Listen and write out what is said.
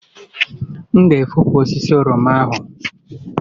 M ga-efopụ osisi oroma ahụ